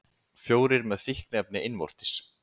Fjórir með fíkniefni innvortis